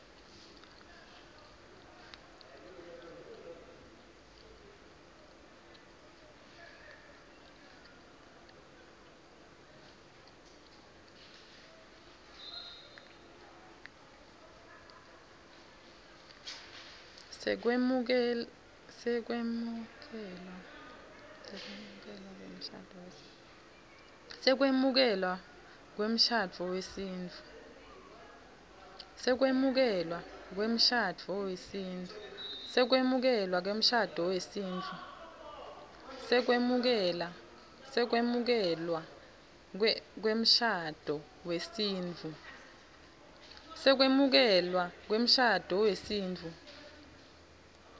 sekwemukelwa kwemshado wesintfu